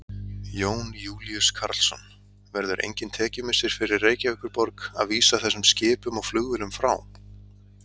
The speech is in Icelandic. Jón Júlíus Karlsson: Verður engin tekjumissir fyrir Reykjavíkurborg að vísa þessum skipum og flugvélum frá?